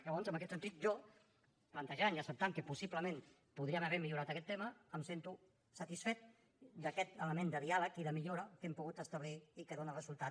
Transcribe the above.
llavors en aquest sentit jo plantejant i acceptant que possiblement podríem haver millorat aquest tema em sento satisfet d’aquest element de diàleg i de millora que hem pogut establir i que dóna resultat